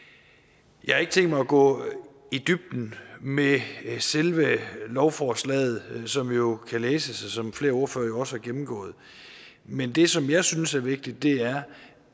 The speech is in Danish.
jeg har ikke tænkt mig at gå i dybden med selve lovforslaget som jo kan læses og som flere ordførere også har gennemgået men det som jeg synes er vigtigt er